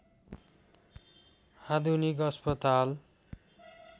आधुनिक अस्पताल